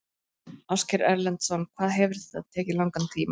Ásgeir Erlendsson: Hvað hefur þetta tekið langan tíma?